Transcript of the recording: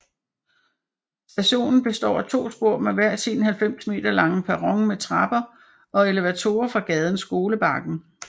Stationen består af to spor med hver sin 90 m lange perron med trapper og elevatorer fra gaden Skolebakken